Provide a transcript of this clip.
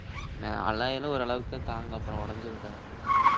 நான் alloy எல்லாம் ஓரளவுக்குதான் தாங்கும் அப்புறம் உடைஞ்சிருன்டா